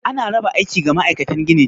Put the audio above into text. Ana raba aiki ga ma'aikatan ginin.